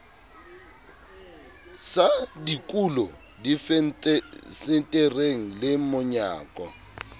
sa dikulo difensetereng le monyako